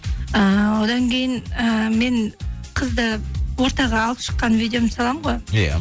ыыы одан кейін ііі мен қызды ортаға алып шыққан видеомды саламын ғой иә